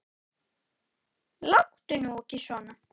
Láttu nú ekki svona.